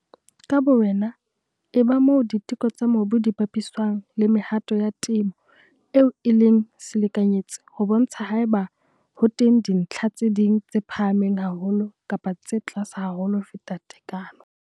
Ka bowena eba moo diteko tsa mobu di bapiswang le mehato ya temo eo e leng selekanyetsi ho bontsha haeba ho teng dintlha tse ding tse phahameng haholo kapa tse tlase haholo ho feta tekano.